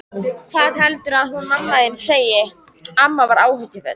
Hvað heldurðu að hún mamma þín segi? amma var áhyggjufull.